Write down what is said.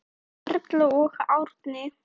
Erla og Árni.